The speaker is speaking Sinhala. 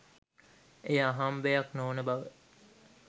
එය අහම්බයක් නොවන බව